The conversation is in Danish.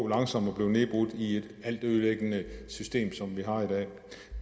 langsomt at blive nedbrudt i et altødelæggende system som vi har i dag